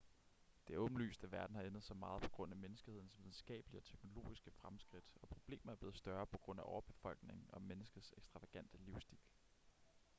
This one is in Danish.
det er åbenlyst at verden har ændret sig meget på grund af menneskehedens videnskabelige og teknologiske fremskridt og problemer er blevet større på grund af overbefolkning og menneskets ekstravagante livsstil